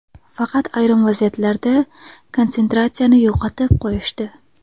Faqat ayrim vaziyatlarda konsentratsiyani yo‘qotib qo‘yishdi.